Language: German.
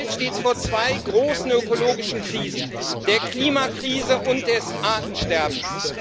Unsere Welt steht vor zwei großen ökologischen Krisen der Klimakrise und der Krise des Artensterbens.